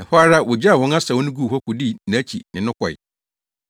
Ɛhɔ ara wogyaw wɔn asau no guu hɔ kodii nʼakyi ne no kɔe.